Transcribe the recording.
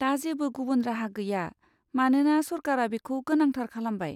दा जेबो गुबुन राहा गैया मानोना सरकारा बेखौ गोनांथार खालामबाय।